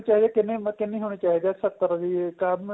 ਕਿੰਨੀ ਕਿੰਨੀ ਹੋਣੀ ਚਾਹੀਦੀ ਏ ਸੱਤਰ ਵੀ ਕੰਮ